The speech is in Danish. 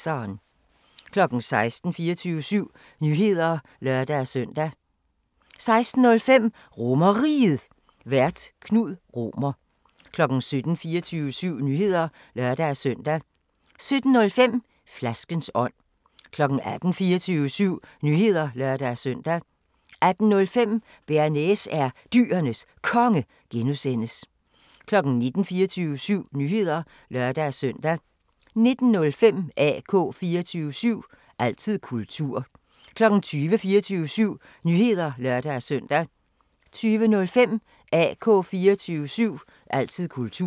16:00: 24syv Nyheder (lør-søn) 16:05: RomerRiget, Vært: Knud Romer 17:00: 24syv Nyheder (lør-søn) 17:05: Flaskens ånd 18:00: 24syv Nyheder (lør-søn) 18:05: Bearnaise er Dyrenes Konge (G) 19:00: 24syv Nyheder (lør-søn) 19:05: AK 24syv – altid kultur 20:00: 24syv Nyheder (lør-søn) 20:05: AK 24syv – altid kultur